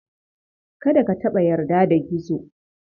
Kada ka taɓa yarda da Gizo.